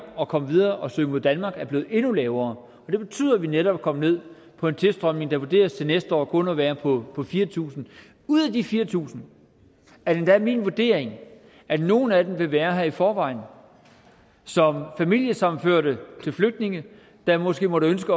at komme videre og søge mod danmark er blevet endnu lavere og det betyder at vi netop er kommet ned på en tilstrømning der vurderes til næste år kun at være på fire tusind ud af de fire tusind er det endda min vurdering at nogle af dem vil være her i forvejen som familiesammenførte til flygtninge der måske måtte ønske